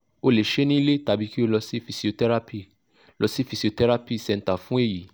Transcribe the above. o le se e ni ile tabi ki o lo si physiotherapy lo si physiotherapy centre fun eyi